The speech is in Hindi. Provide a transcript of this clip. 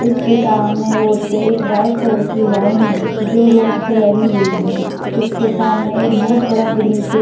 इसके सामने रोड पे एक व्हाइट कलर की लाइन है जो रोड पे लगी हुई है इसके सामने एक बोहोत बड़ा ग्रीन पेड़ --